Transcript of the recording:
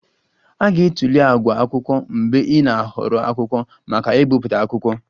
A ga-atụle àgwà akwụkwọ mgbe ị na-ahọrọ akwụkwọ maka ibipụta akwụkwọ